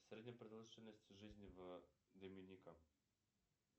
средняя продолжительность жизни в доминика